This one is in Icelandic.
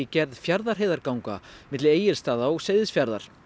gerð Fjarðarheiðarganga milli Egilsstaða og Seyðisfjarðar